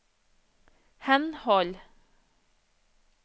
henhold